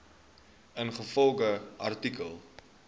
ingevolge artikel